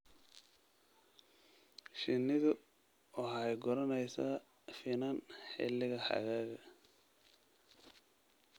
Shinnidu waxay guranaysaa finan xilliga xagaaga.